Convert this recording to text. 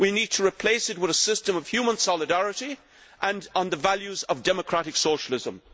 We need to replace it with a system of human solidarity, based on the values of democratic socialism.